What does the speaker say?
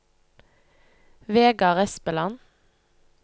Vegard Espeland